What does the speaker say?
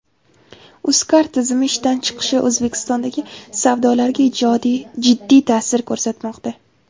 Uzcard tizimi ishdan chiqishi O‘zbekistondagi savdolarga jiddiy ta’sir ko‘rsatmoqda.